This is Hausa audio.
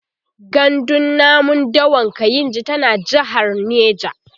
gandun namun dawan kainji tana jehar neja